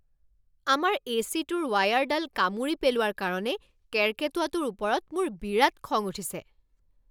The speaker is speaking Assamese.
আমাৰ এ চি টোৰ ৱায়াৰডাল কামুৰি পেলোৱাৰ কাৰণে কেৰ্কেটুৱাটোৰ ওপৰত মোৰ বিৰাট খং উঠিছে।